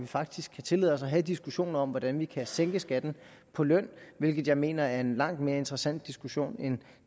faktisk tillade os at have en diskussion om hvordan vi kan sænke skatten på løn hvilket jeg mener er en langt mere interessant diskussion end